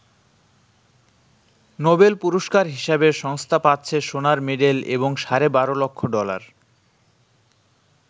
Nobel পুরস্কার হিসাবে সংস্থা পাচ্ছে সোনার মেডেল এবং সাড়ে বারো লক্ষ ডলার।